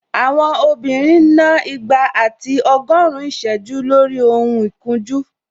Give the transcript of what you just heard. Àwọn obìnrin ń ná igba àti ọgọ́rin ìsẹ́jú lórí ohun ìkunjú